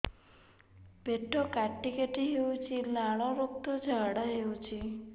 ପେଟ କାଟି କାଟି ହେଉଛି ଲାଳ ରକ୍ତ ଝାଡା ହେଉଛି